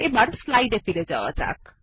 এবার স্লাইডে ফিরে যাওয়া যাক